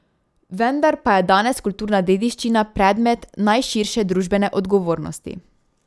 Vendar pa je danes kulturna dediščina predmet najširše družbene odgovornosti.